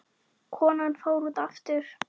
Konan fór út aftur.